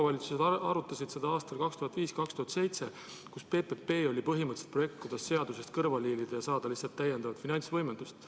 Omavalitsused arutasid seda aastatel 2005–2007, kui PPP oli põhimõtteliselt projekt, kuidas seadusest kõrvale hiilida ja saada lihtsalt täiendavat finantsvõimendust.